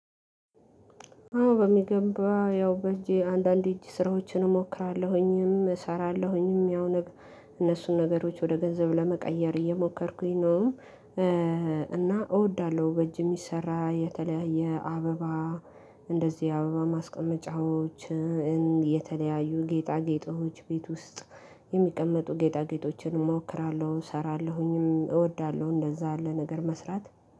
አዎ በሚገባ። ያው በእጄ አንዳንድ የእጅ ስራዎችን እሞክራለሁኝም እሰራለሁኝም። ያው እነሱን ነገሮች ወደ ገንዘብ ለመቀየር እየሞከርኩኝ ነው። እና እወዳለሁ በእጅ የሚሰራ የተለያየ አበባ እንደዚህ አበባ ማስቀመጫዎች፣ የተለያዩ ጌጣጌጦች ቤት ውስጥ የሚቀመጡ ጌጣጌጦችን እሞክራለሁ እሰራለሁኝም። እወዳለሁ እንደዛ ያለ ነገር መስራት።